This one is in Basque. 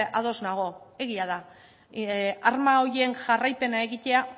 ados nago egia da arma horien jarraipena egitea